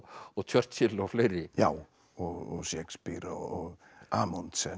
og Churchill og fleiri já og Shakespeare og